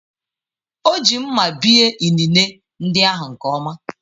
O ji mma bie inine ndị ahụ nke ọma